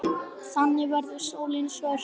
Þannig verður sólin svört.